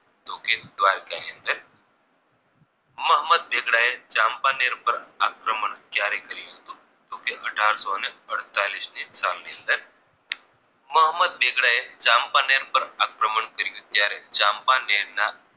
મોહમ્મદ બેગડાએ ચાંપાનેર પર આક્રમણ ક્યારે કર્યું હતું તો કે અઢારસો ને અડતાળીસ ની સાલની અંદર મોહમ્મદ બેગડાએ ચાંપાનેર પર આક્રમણ કર્યું ત્યારે ચાંપાનેરના